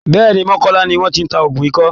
Bẹ́ẹ̀́ẹ̀ ni, mọ́kọ́lá ni wọ́n ti ń ta òògùn ikọ́